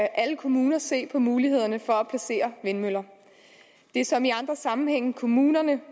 alle kommuner se på mulighederne for at placere vindmøller det er som i andre sammenhænge kommunerne